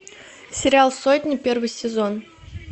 сериал сотня первый сезон